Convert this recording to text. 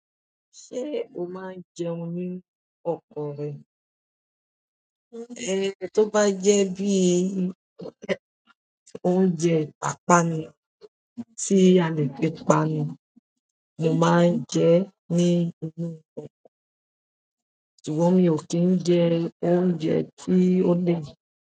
Ṣé o máa ń jẹun nínú ọkọ rẹ? Ibi tó bá jẹ bíi oúnjẹ ìpápánu tíì a lè fi panu mo máa ń jẹ e ní gbogbo ìgbà, ṣùgbọ́n mi ò kìí ń jẹ oúnjẹ tí ó ní.